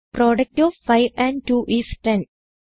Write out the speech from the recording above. product of 5 and 2 is 1000